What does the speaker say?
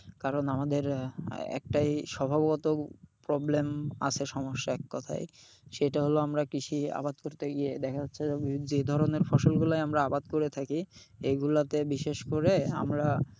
কারণ আমাদের একটাই স্বভাবত problem আছে সমস্যা এককথায় সেটা হল আমরা কৃষি আবাদ করতে গিয়ে দেখা যাচ্ছে যে যে ধরনের ফসলগুলায় আমরা আবাদ করে থাকি এগুলাতে বিশেষ করে আমরা,